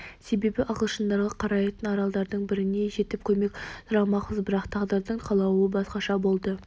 себебі ағылшындарға қарайтын аралдардың біріне жетіп көмек сұрамақпыз бірақ тағдырдың қалауы басқаша болды